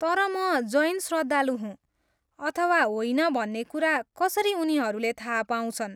तर म जैन श्रद्धालु हुँ अथवा होइन भन्ने कुरा कसरी उनीहरूले थाहा पाउँछन्?